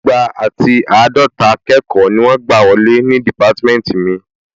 Igba àti àádọta akẹ́kọ̀ọ́ ni wọ́n gbà wọlé ní dìpátímẹ́ntì mi